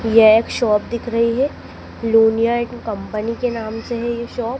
यह एक शॉप दिख रही है लुनिया एण्ड कंपनी के नाम से है ये शॉप ।